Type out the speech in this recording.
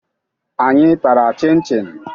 Anyị tara chịn chịn